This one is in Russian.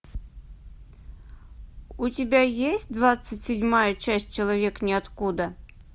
у тебя есть двадцать седьмая часть человек ниоткуда